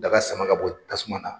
Daga sama ka bɔ tasuma na